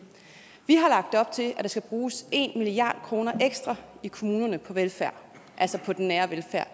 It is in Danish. vi har lagt op til at der skal bruges en milliard kroner ekstra i kommunerne på velfærd altså på den nære velfærd